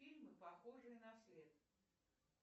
фильмы похожие на след